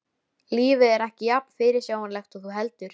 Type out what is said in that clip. Lífið er ekki jafn fyrirsjáanlegt og þú heldur.